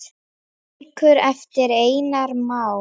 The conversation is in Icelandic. Bækur eftir Einar Má.